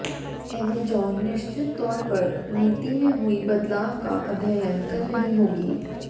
Amazon निश्चित तौर पर नीति में हुए बदलाव का अध्ययन कर रही होगी